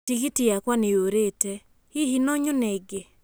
Tikithi yakwa nĩ yũrĩte, hihi no nyone ĩngĩ?